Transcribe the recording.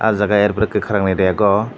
oh jaga er poreh kwkhwrangni rek o.